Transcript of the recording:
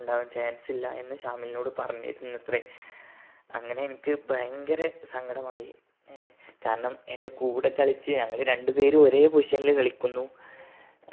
ഉണ്ടാവാൻ chance ഇല്ല എന്ന് ശാമിലിനോട് പറഞ്ഞിരുന്നുവത്രെ അങ്ങനെ എനിക്ക് ഭയങ്കര സങ്കടമായി ഏർ കാരണം എൻ്റെ കൂടെ കളിച്ച് ഞങ്ങൾ രണ്ടു പേരും ഒരേ position ൽ കളിക്കുന്നു